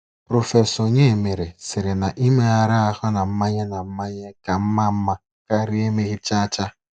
Prọfesọ Onyemere sịrị na Imegharị ahụ na mmanye na mmanye ka mma mma karịa emeghị chacha.